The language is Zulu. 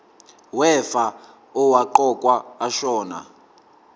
wefa owaqokwa ashona